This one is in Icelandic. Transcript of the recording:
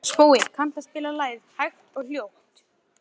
Skuld, kanntu að spila lagið „Silfraður bogi“?